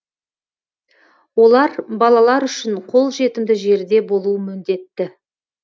олар балалар үшін қолжетімді жерде болуы міндетті